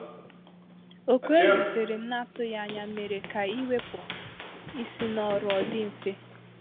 Oku ezi tere m na-atụghị ànyà méérè ka iwepụ isi n’ọrụ ọ dị mfe.